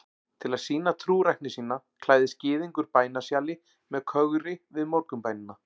Til að sýna trúrækni sína klæðist gyðingur bænasjali með kögri við morgunbænina.